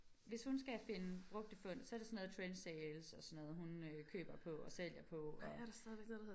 Hvis hun skal finde brugte fund så det sådan noget Trendsales og sådan noget hun øh køber på og sælger på og